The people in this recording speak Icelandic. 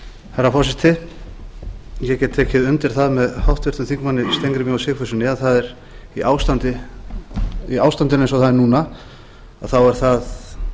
herra forseti ég get tekið undir það með háttvirtum þingmönnum steingrími j sigfússyni ástandinu eins og það er núna að þá er það